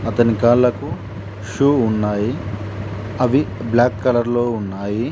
అతని కాళ్ళకు షూ ఉన్నాయి అవి బ్లాక్ కలర్ లో ఉన్నాయి.